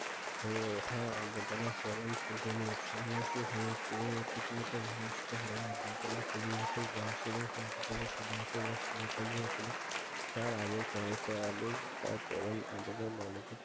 এই ওঠা আমাদের পরম পূজনীয় সন্ন্যাসী হয়ে ভুমিষ্ট হয় নি কেউ কেউ চব্বিশ বছর বয়সে হয়েছিল তার আগে সহজ স্বাভাবিক